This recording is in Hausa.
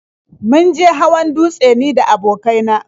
Mun je hawan dutse ni da abokai na.